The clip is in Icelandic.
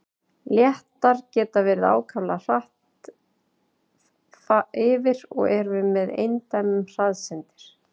Léttar geta farið ákaflega hratt yfir og eru með eindæmum hraðsyndir.